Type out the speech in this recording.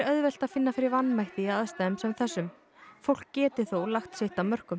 auðvelt að finna fyrir vanmætti í aðstæðum sem þessum fólk geti þó lagt sitt af mörkum